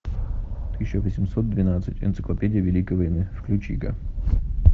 тысяча восемьсот двенадцать энциклопедия великой войны включи ка